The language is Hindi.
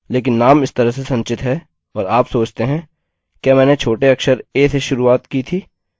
लेकिन नाम इस तरह से संचित है और आप सोचते हैं – क्या मैंने छोटे अक्षर a से शुरुआत की थी